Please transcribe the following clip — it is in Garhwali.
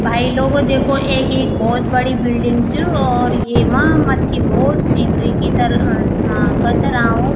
भाई लोगों देखो एक ये भोत बड़ी बिल्डिंग च और येमा मत्थी भौत सीनरी की तल अ स कतराऊ --